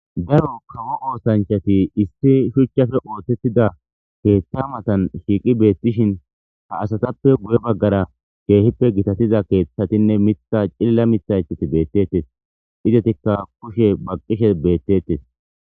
daro kawo oosanchati issi shuchchafe ootettida keeththa matan shiiqi beettishin ha asatappe guye baggara keehippe gitatiza keeththatinne mitha cilla mithaithati beettettes izetikka kushe baqqishe beettettes